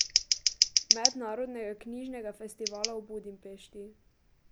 Mednarodnega knjižnega festivala v Budimpešti.